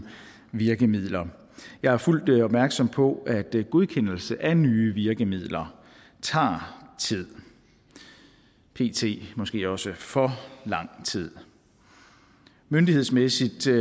virkemidler jeg er fuldt opmærksom på at godkendelse af nye virkemidler tager tid pt måske også for lang tid myndighedsmæssigt